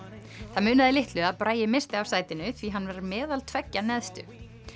það munaði litlu að Bragi missti af sætinu því hann var meðal tveggja neðstu